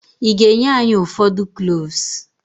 Ị ga-enye anyị ụfọdụ cloves?